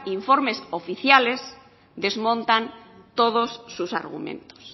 informes oficiales desmontan todos sus argumentos